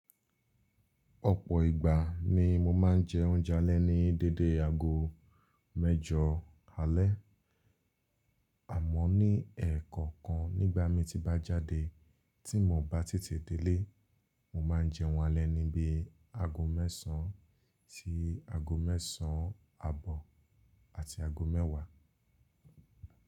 Ọ̀pọ̀ ìgbà ni mo máa ń jẹ oúnjẹ alẹ́ ní dédé aago mẹ́jọ alẹ́. Àmọ́ ní ẹ̀ẹ̀kọ̀kan nígbà mi tí bá jáde tí mo bá tètè délé, mo máa ń jẹ wọn alẹ́ níbi aago mẹ́sàn án sí aago mẹ́sàn án àbọ̀ àti aago mẹ́wàá.